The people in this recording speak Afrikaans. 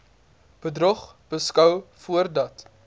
bedrog beskou voordat